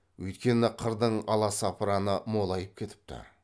өйткені қырдың аласапыраны молайып кетіпті